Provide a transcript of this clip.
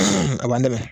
A b'an dɛmɛ